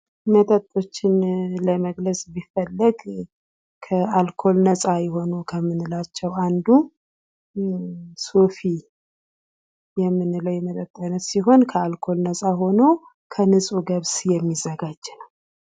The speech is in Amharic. መጠጦችን ለመግለጽ ቢፈለግ ከአልኮል ነፃ የሆኑ ከምንላቸው አንዱ ሶፊ የምንለው የመጠጥ አይነት ሲሆን ከአልኮል ነፃ ሆኖ ከንፁህ ገብስ የሚዘጋጅ ነው ።